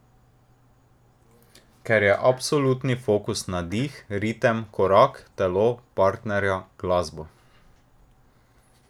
Ker je absolutni fokus na dih, ritem, korak, telo, partnerja, glasbo.